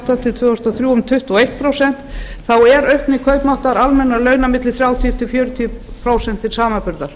átta til tvö þúsund og þrjú þá er aukning kaupmáttar almennra launa milli þrjátíu til fjörutíu prósent til samanburðar